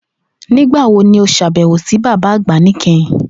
Nigbawo ni o ṣabẹwo si baba agba nikẹhin?